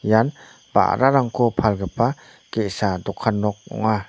ian ba·rarangko palgipa ge·sa dokan nok ong·a.